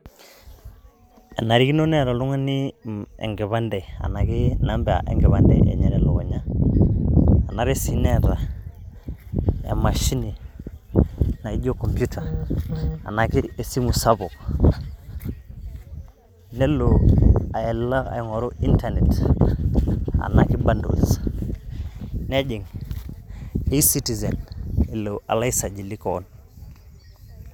Enatikino neeta oltung'ani enkipande, enake namba enkipande enye telukunya. Enare si neeta emashini naijo computer ena kesimu sapuk, nelo alo aing'oru Internet anake bundles. Nejing' e-citizen alo aisajili keon.